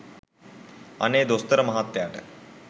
අනේ දොස්තර මහත්තයාට